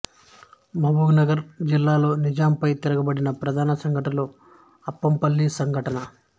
మహబూబ్ నగర్ జిల్లాలో నిజాంపై తిరగబడిన ప్రధాన సంఘటన అప్పంపల్లి సంఘటన